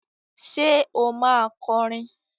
Ṣe o ma kọrin?